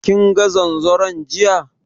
Kinga zanzaron jiya?